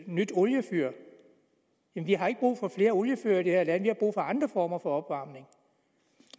nyt oliefyr men vi har ikke brug for flere oliefyr i det her land vi har brug for andre former for opvarmning